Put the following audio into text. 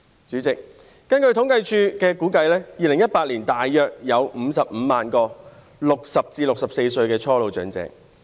主席，根據政府統計處的估算，在2018年，全港約有55萬名60歲至64歲的初老長者。